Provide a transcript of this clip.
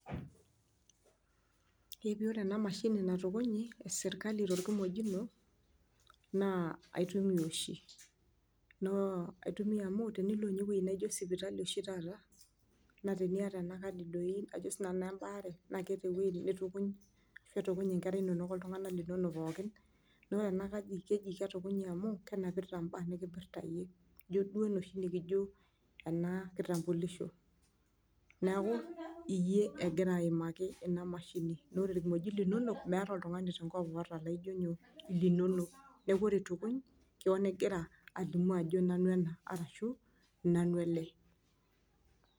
eji ore ena mashini natukunyi e serkali torkimojino, naa aitumiya oshi naa aitumiya amuu tenilo ewueji naijo sipitali oshi taata naa teniyata ena kadi doi ajo sii nanu naa embaare, naa keeta ewueji nitukuny netukuny inkera inonok oltung'anak linonok pookin naa ore ena kadi keji ketukunyi amuu kenapita mbaa naipirta iyie, ijo duo enoshi nikijo enaa kitambulisho , neeku iyie egira aimaki ena mashini, naa ore irkimojik linonok meeta oltung'ani tenkop oota laijo nyoo linonok neeku ore itukuny igira alimu ajo nanu ena arashu nanu ele.